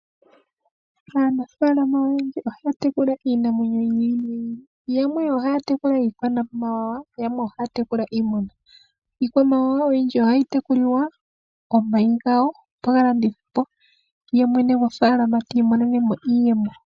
Aanafalama oyendji ohaya tekula iinamwenyo yi ili noyi ili. Yamwe ohaya tekula iikwamawawa, yamwe ohaya tekula iimuna. Iikwamawawa oyindji ohayi tekulilwa omayi gawo taga landithwa ye mwene gofaalama ti imonene mo iiyemo.